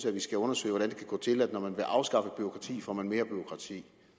at vi skal undersøge hvordan det kan gå til at når man vil afskaffe bureaukrati får man mere bureaukrati